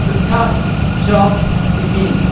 the tough job begins.